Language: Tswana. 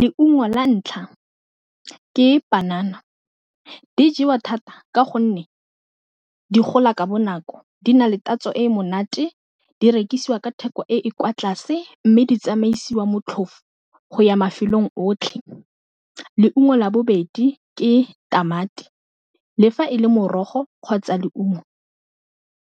Leungo la ntlha ke panana, di jewa thata ka gonne di gola ka bonako di na le tatso e monate di rekisiwe ka theko e e kwa tlase mme di tsamaisiwa motlhofo go ya mafelong otlhe. Leungo la bobedi ke tamati le fa e le morogo kgotsa leungo,